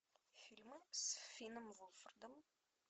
фильмы с финном вулфардом